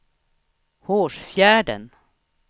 Hårsfjärden